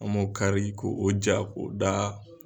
An m'o kari k'o o ja k'o da